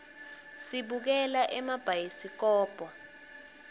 sibukela emabhayisikobho